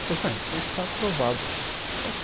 então você está aprovado